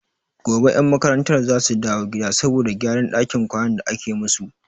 Gobe 'yan makarantar za su dawo gida saboda gyaran dakin kwanan da ake musu.